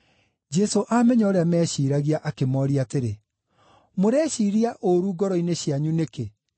Jesũ aamenya ũrĩa meeciiragia, akĩmooria atĩrĩ, “Mũreciiria ũũru ngoro-inĩ cianyu nĩkĩ?